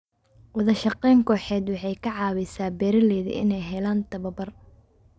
Wadashaqeyn kooxeed waxay ka caawisaa beeralayda inay helaan tababar.